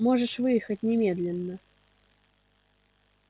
можешь выехать немедленно